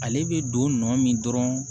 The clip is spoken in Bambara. Ale bɛ don min dɔrɔn